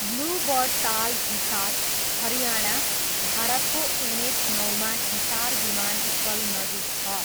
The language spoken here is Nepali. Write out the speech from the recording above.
ब्लू बर्ड ताल हिसार, हरियाणा, भारतको एनएच नौमा हिसार विमानस्थल नजिक छ।